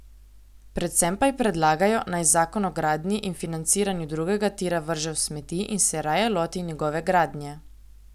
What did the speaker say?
Predvsem pa ji predlagajo, naj zakon o gradnji in financiranju drugega tira vrže v smeti in se raje loti njegove gradnje.